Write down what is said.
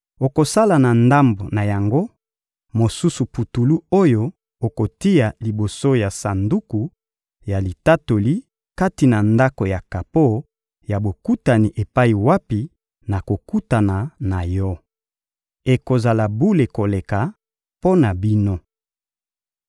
Okosala na ndambo na yango mosusu putulu oyo okotia liboso ya Sanduku ya Litatoli kati na Ndako ya kapo ya Bokutani epai wapi nakokutana na yo. Ekozala bule koleka mpo na bino.